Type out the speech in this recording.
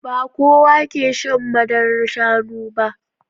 Ba kowa ke shan madarar Shanu ba